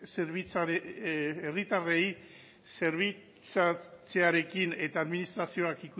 zerbitzatzearekin eta administrazioak